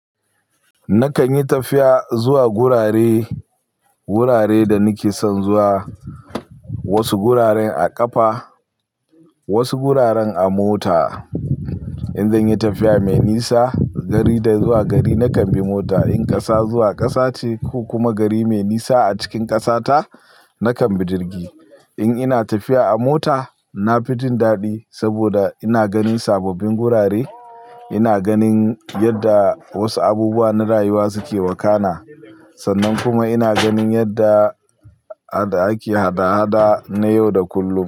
Nakan yi tafiya zuwa gurare, gurare da nake son zuwa. Wasu guraren a ƙafa, wasu guraren a mota. In zan yi tafiya mai nisa, gari zuwa gari nakan bi mota. In ƙasa zuwa ƙasa ce ko kuma gari mai nisa a cikin ƙasa ta, nakan bi jirgi. In ina tafiya a mota, na fi jin daɗi saboda ina ganin sababbin gurare, ina ganin yadda wasu abubuwa na rayuwa suke wakana sannan kuma ina ganin yadda ake hada-hada na yau da kullum.